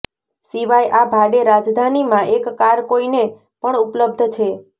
સિવાય આ ભાડે રાજધાની માં એક કાર કોઈને પણ ઉપલબ્ધ છે